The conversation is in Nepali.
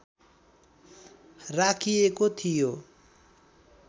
राखिएको थियो